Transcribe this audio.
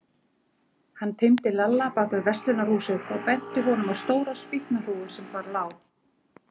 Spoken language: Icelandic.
Hann teymdi Lalla bak við verslunarhúsið og benti honum á stóra spýtnahrúgu sem þar lá.